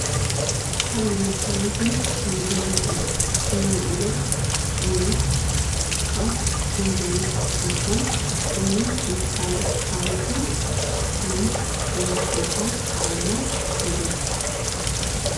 ካብ ንመድሓኒትን ንምግብነትን እነውዕሎ ዓይነት ዕፅዋት ጅንጅብል እንትኮን በይኖም ምስ ካልኦት ተሓዊሱ ሕማም ናይ ምክልካል ዓቅምና የደንፍዕ፡፡